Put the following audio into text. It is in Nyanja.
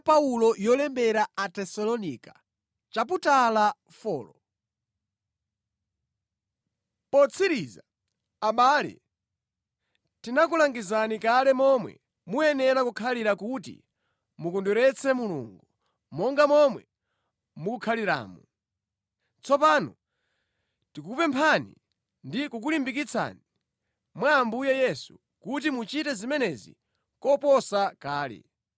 Potsiriza, abale, tinakulangizani kale momwe mukuyenera kukhalira kuti mukondweretse Mulungu, monga momwe mukukhaliramo. Tsopano tikukupemphani ndi kukulimbikitsani mwa Ambuye Yesu kuti muchite zimenezi koposa kale.